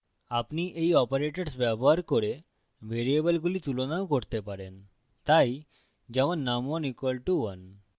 আপনি you operators ব্যবহার করে ভেরিয়েবলগুলি তুলনাও করতে পারেন তাই যেমন num1 = 1